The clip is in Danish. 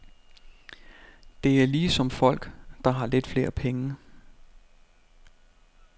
Det er ligesom folk, der har lidt flere penge.